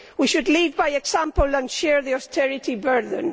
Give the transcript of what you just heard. We should lead by example and share the austerity burden